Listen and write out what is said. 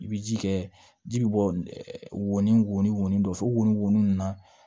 I bɛ ji kɛ ji bɛ bɔ ni wo ni wolonfilen ninnu na